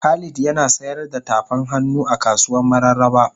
Khalid Yana sayar da tafan hannu a kasuwan mararaba.